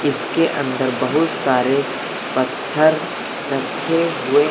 इसके अंदर बहुत सारे पत्थर रखे हुए हैं।